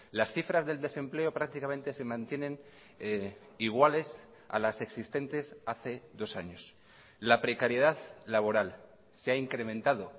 las cifras del desempleo prácticamente se mantienen iguales a las existentes hace dos años la precariedad laboral se ha incrementado